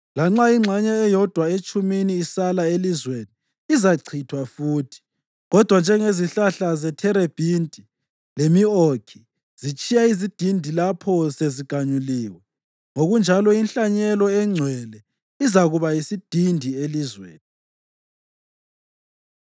Lanxa ingxenye eyodwa etshumini isala elizweni izachithwa futhi. Kodwa njengezihlahla zetherebhinti lemi-okhi zitshiya izidindi lapho seziganyulwe, ngokunjalo inhlanyelo engcwele izakuba yisidindi elizweni.”